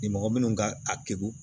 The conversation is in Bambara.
Ni mɔgɔ minnu ka a degun